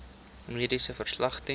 mediese verslag ten